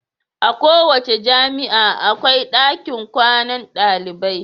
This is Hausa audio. A kowace jami'a akwai ɗakin kwanan dalibai.